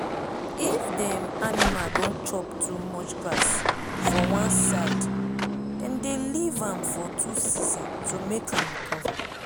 if dem animal don chop too much grass for one sidedem dey leave am for two season to make am recover.